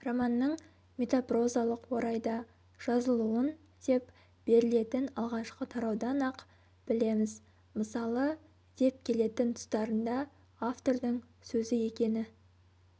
романның метапрозалық орайда жазылуын деп берілетін алғашқы тараудан-ақ білеміз мысалы деп келетін тұстарында автордың сөзі екені